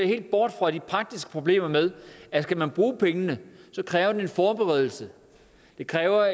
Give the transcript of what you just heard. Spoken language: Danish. helt bort fra de praktiske problemer med at skal man bruge pengene kræver det en forberedelse det kræver